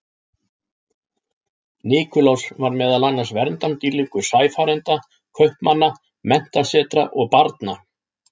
Nikulás var meðal annars verndardýrlingur sæfarenda, kaupmanna, menntasetra og barna.